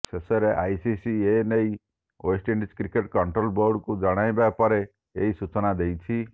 ଶେଷରେ ଆଇସିସି ଏ ନେଇ ୱେଷ୍ଟଇଣ୍ଡିଜ କ୍ରିକେଟ କଣ୍ଟ୍ରୋଲ ବୋର୍ଡକୁ ଜଣାଇବା ପରେ ଏହି ସୂଚନା ଦେଇଛି